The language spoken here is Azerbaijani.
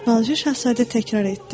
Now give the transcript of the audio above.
balaca şahzadə təkrar etdi.